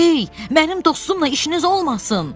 Ey, mənim dostumla işiniz olmasın!